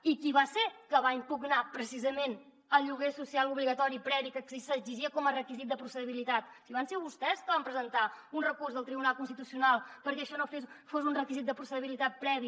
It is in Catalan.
i qui va ser que va impugnar precisament el lloguer social obligatori previ que s’exigia com a requisit de processabilitat si van ser vostès que van presentar un recurs al tribunal constitucional perquè això no fos un requisit de processabilitat previ